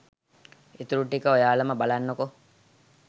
ඉතුරු ටික ඔයාලම බලන්නකෝ